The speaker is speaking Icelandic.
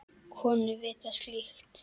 Konur vita slíkt.